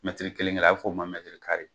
Mɛtiri kelen kelen a b'o fɔ o ma ko mɛtiri